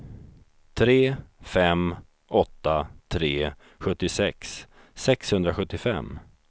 tre fem åtta tre sjuttiosex sexhundrasjuttiofem